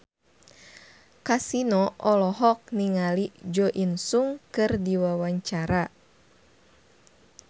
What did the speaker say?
Kasino olohok ningali Jo In Sung keur diwawancara